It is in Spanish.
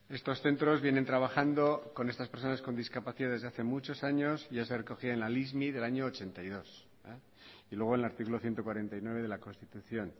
estos centros vienen trabajando con estas personas con discapacidad desde hace muchos años y ya se recogía en la lismi del año ochenta y dos y luego el artículo ciento cuarenta y nueve de la constitución